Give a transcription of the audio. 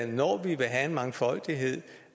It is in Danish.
når vi vil have en mangfoldighed